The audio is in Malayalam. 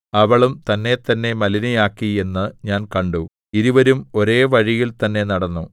അവളും തന്നെത്തന്നെ മലിനയാക്കി എന്ന് ഞാൻ കണ്ടു ഇരുവരും ഒരേ വഴിയിൽ തന്നെ നടന്നു